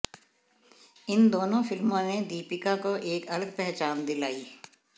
इन दोनों फिल्मों ने दीपिका को एक अलग पहचान दिलाई